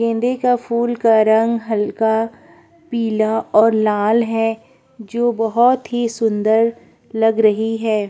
गेंदे का फूल का रंग हल्का पीला और लाल है जो बहुत ही सुंदर लग रही है।